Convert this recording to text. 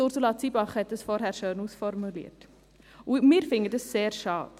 Ursula Zybach hat das vorhin schön ausformuliert, und wir finden das sehr schade.